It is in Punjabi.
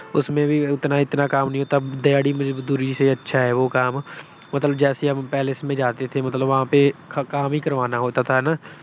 ਉਸਮੇਂ ਵੀ ਇਤਨਾ ਅਹ ਉਤਨਾ ਕਾਮ ਨਹੀਂ ਹੋਤਾ। ਦਿਹਾੜੀ ਮਜਦੂਰੀ ਸੇ ਅੱਛਾ ਹੈ ਵੋ ਕਾਮ। ਮਤਲਬ ਜੈਸੇ ਹਮ palace ਮੇਂ ਜਾਤੇ ਥੇ, ਬਹਾ ਪੇ ਮਤਲਬ ਕਾਮ ਹੀ ਕਰਵਾਨਾ ਹੋਤਾ ਥਾ ਹਨਾ।